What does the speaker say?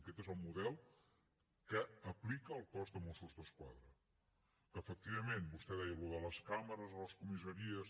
aquest és el model que aplica el cos de mossos d’esquadra que efectivament vostè deia allò de les càmeres a les comissaries